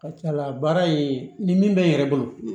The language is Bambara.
Ka ca ala ye ni min bɛ n yɛrɛ bolo